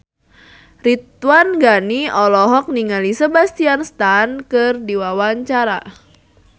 Ridwan Ghani olohok ningali Sebastian Stan keur diwawancara